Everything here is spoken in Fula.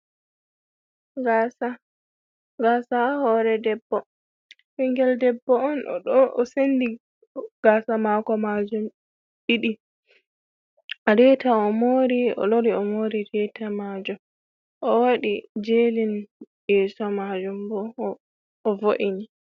Gaasa, gaasa haa hoore debbo. Ɓingel debbo on oɗo, o sendi gaasa maako maajum ɗiɗi, reeta o mori, o lori o moori reeta maajum. O waɗi jelin yeeso maajum bo o vo’ini.